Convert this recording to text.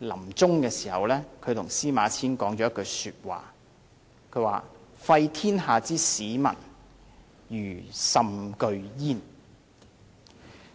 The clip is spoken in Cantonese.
臨終時告誡司馬遷："廢天下之史文，余甚懼焉"。